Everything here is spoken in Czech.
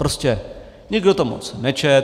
Prostě nikdo to moc nečetl.